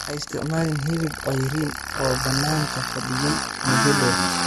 Ha isticmaalin hilib cayriin oo bannaanka fadhiyay muddo dheer.